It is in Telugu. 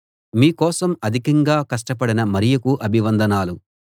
మీకోసం అధికంగా కష్టపడిన మరియకు అభివందనాలు